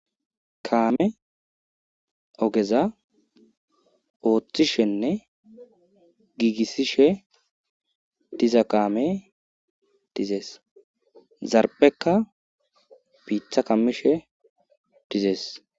kaame ogeza ooththishenne giigissishe diza kaame dizees zarbekka biitha kammishe dizees